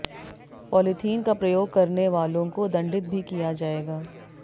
polythene का प्रयोग करने वालों को दंडित भी किया जाएगा